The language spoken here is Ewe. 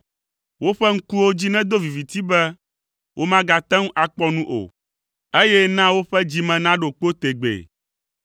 Woƒe ŋkuwo dzi nedo viviti be, womagate ŋu akpɔ nu o, eye na woƒe dzi me naɖo kpo tegbee.